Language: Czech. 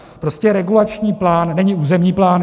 Prostě regulační plán není územní plán.